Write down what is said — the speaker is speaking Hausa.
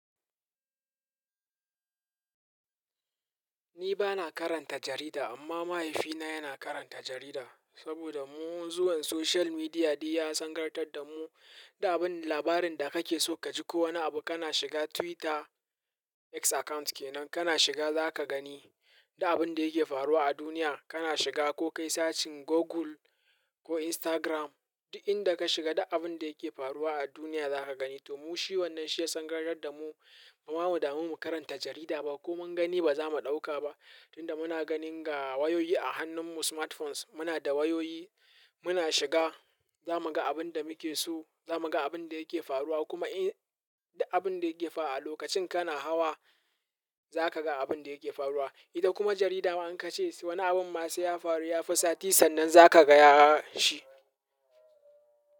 Ni ba na karanta jarida amma mahaifina yana karanta jarida. Saboda mun zuwan social media duk ya sangantar da mu, duk abin labarin da kake so kaji ko wani abu kana shiga Twitter, X account kenan kana shiga za ka gani. Duk abin da yake faruwa a duniya kana shiga ko kai sacin Google ko Instagram duk inda ka shiga duk abin da yake faruwa a duniya za ka gani. To mu shi wannan shi ya sangantar da mu, ba mu damu mu karanta jarida ba ko mun gani ba za mu ɗauka ba. Tun da muna ganin ga wayoyi a hannunmu smartphones muna da wayoyi muna shiga za mu ga abin da muke so, za mu ga abin da yake faruwa kuma in duk abin da yake fa a lokacin kana hawa za ka ga abin da yake faruwa. Ita kuma jarida an ka ce wani abun ma sai ya faru ya fi sati sannan za ka gaya shi.